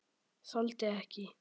Þoldi ekki.